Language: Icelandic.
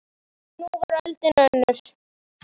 En nú var öldin önnur.